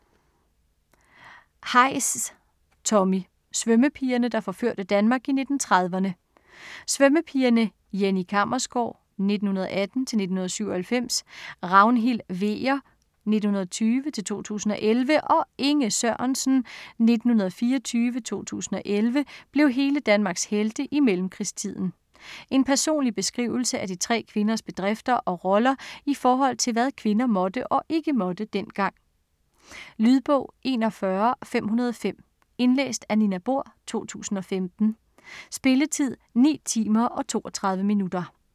Heisz, Tommy: Svømmepigerne der forførte Danmark i 1930'erne Svømmepigerne Jenny Kammersgaard (1918-1997), Ragnhild Hveger (1920-2011) og Inge Sørensen (1924-2011) blev hele Danmarks helte i mellemkrigstiden. En personlig beskrivelse af de tre kvinders bedrifter og roller i forhold til hvad kvinder måtte og ikke måtte dengang. Lydbog 41505 Indlæst af Nina Bohr, 2015. Spilletid: 9 timer, 32 minutter.